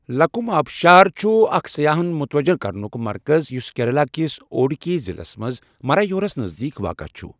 لکم آبشار چھُ اکھ سیاحَن متوجہ کرنُک مرکَز یُس کیرالہ کس اڈوکی ضلعَس منٛز مرایورَس نزدیٖک واقعہ چھُ۔